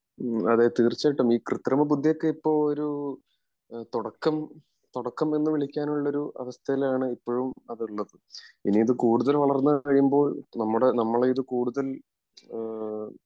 അതെ തീർച്ചയായിട്ടും ഈ കൃതൃമ ബുദ്ധി ഒക്കെ ഇപ്പൊ ഒരു തുടക്കം തുടക്കം എന്ന് വിളിക്കാൻ ഉള്ള ഒരു അവസ്ഥയിലാണ് ഇപ്പോഴും അത് ഉള്ളത് ഇനി അത് കൂടുതൽ വളർന്നു കഴിയുമ്പോൾ നമ്മുടെ നമ്മൾ ഇത് കൂടുതൽ ഈഹ്